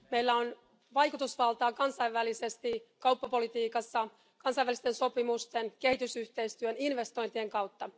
Meillä on vaikutusvaltaa kansainvälisesti kauppapolitiikassa, kansainvälisten sopimusten, kehitysyhteistyön ja investointien kautta.